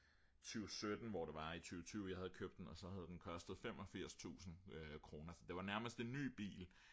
2017 hvor det var i 2020 jeg havde købt den og så havde den kostet 85000 kroner så det var nærmest en ny bil